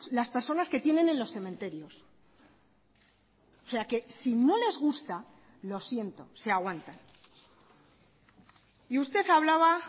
las personas que tienen en los cementerios o sea que si no les gusta lo siento se aguantan y usted hablaba